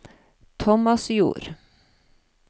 Tomasjord